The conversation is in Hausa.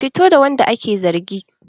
Fito da wanda ake zargi!